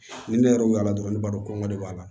Ni ne yɛrɛ y'u weele dɔrɔn ne b'a dɔn kɔngɔ de b'a la